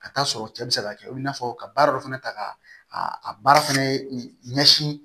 Ka taa sɔrɔ cɛ bi se ka kɛ o n'a fɔ ka baara dɔ fana ta ka a baara fana ɲɛsin